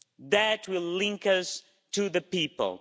That will link us to the people.